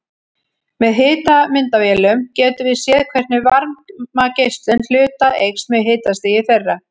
Með hitamyndavélum getum við séð hvernig varmageislun hluta eykst með hitastigi þeirra.